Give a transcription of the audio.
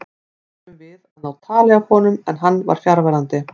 Reyndum við að ná tali af honum en hann var fjarverandi.